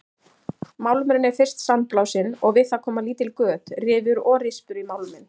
Málmurinn er fyrst sandblásinn og við það koma lítil göt, rifur og rispur í málminn.